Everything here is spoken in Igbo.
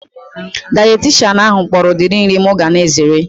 Dayetishanụ ahu kpọrọ udiri nri mụ ga na-ezere